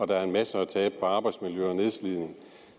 der er en masse at tabe på arbejdsmiljø og nedslidning